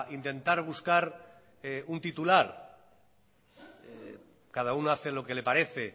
intentar buscar un titular cada uno hace lo que le parece